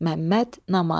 Məmməd Namaz.